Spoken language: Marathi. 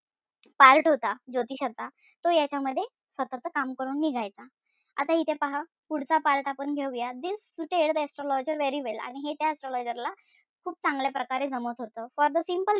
Part होता ज्योतिषाचा तो यांच्यामध्ये स्वतःच काम करून निघायचा. आता इथे पहा. पुढचा part आपण घेऊया. This suited the astrologer very well आणि हे त्या astrologer ला खूप चांगल्या प्रकारे जमत होत. For the simple reason that,